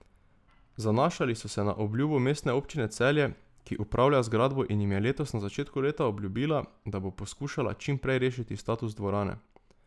Zanašali so se na obljubo Mestne občine Celje, ki upravlja zgradbo in jim je letos na začetku leta obljubila, da bo poskušala čim prej rešiti status dvorane.